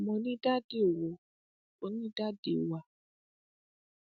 mo ti ní ipa nínú ọpọlọpọ ẹgbẹ òṣèlú sẹyìn